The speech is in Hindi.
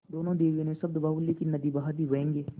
दोनों देवियों ने शब्दबाहुल्य की नदी बहा दी व्यंग्य